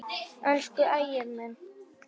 Elsku Ægir minn.